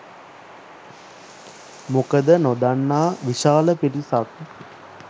මොකද නොදන්නා විශාල පිරිසක්